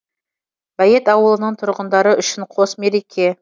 бәйет ауылының тұрғындары үшін қос мереке